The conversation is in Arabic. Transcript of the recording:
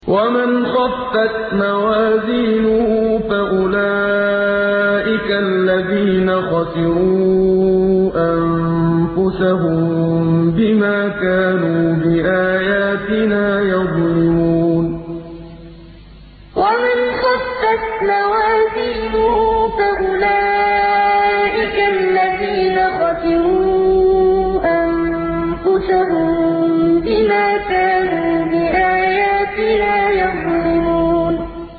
وَمَنْ خَفَّتْ مَوَازِينُهُ فَأُولَٰئِكَ الَّذِينَ خَسِرُوا أَنفُسَهُم بِمَا كَانُوا بِآيَاتِنَا يَظْلِمُونَ وَمَنْ خَفَّتْ مَوَازِينُهُ فَأُولَٰئِكَ الَّذِينَ خَسِرُوا أَنفُسَهُم بِمَا كَانُوا بِآيَاتِنَا يَظْلِمُونَ